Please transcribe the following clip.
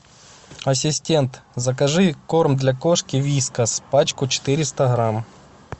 ассистент закажи корм для кошки вискас пачку четыреста грамм